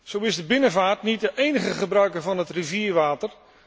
Zo is de binnenvaart niet de enige gebruiker van het rivierwater